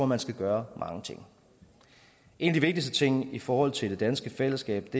man skal gøre mange ting en af de vigtigste ting i forhold til det danske fællesskab